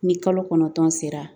Ni kalo kɔnɔntɔn sera